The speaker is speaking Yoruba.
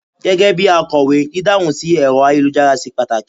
gégé bi akowe, didahun sí ẹrọ ayélujára ṣe pàtàkì